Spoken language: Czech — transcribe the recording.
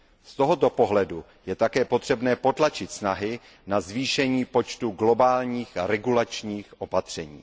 Z tohoto pohledu je také potřebné potlačit snahy na zvýšení počtu globálních regulačních opatření.